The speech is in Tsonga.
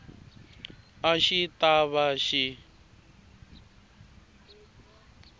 a xi ta va xi